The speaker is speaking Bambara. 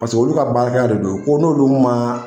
Paseke olu ka baara hakɛya de don ko n'olu ma.